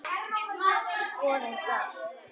Skoðum það.